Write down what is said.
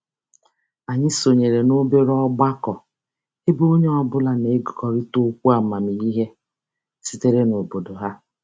Anyị sonyere n'obere ọgbakọ ebe onye ọbụla na-ekekọrịta okwu amamihe sitere n'obodo ha.